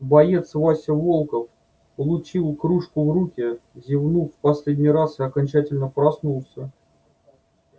боец вася волков получив кружку в руки зевнул в последний раз и окончательно проснулся